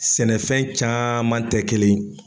Sɛnɛfɛn caman tɛ kelen ye